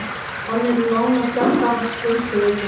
Hann er nánast jafngamall spönsku veikinni.